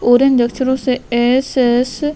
orange अक्षरों से S S --